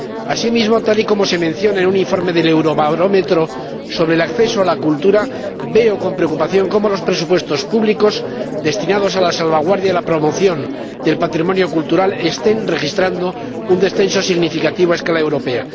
Asimismo, tal y como se menciona en un informe del Eurobarómetro sobre el acceso a la cultura, veo con preocupación cómo los presupuestos públicos destinados a la salvaguardia y la promoción del patrimonio cultural están registrando un descenso significativo a escala europea.